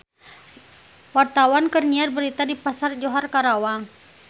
Wartawan keur nyiar berita di Pasar Johar Karawang